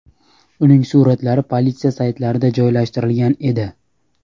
Uning suratlari politsiya saytlarida joylashtirilgan edi.